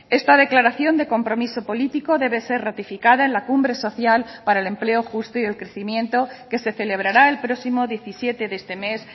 esta declaración de compromiso político debe ser ratificada en la cumbre social para el empleo justo y el crecimiento que se celebrará el próximo diecisiete de este mes